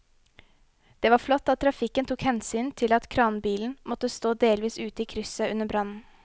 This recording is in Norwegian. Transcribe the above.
Det var flott at trafikken tok hensyn til at kranbilen måtte stå delvis ute i krysset under brannen.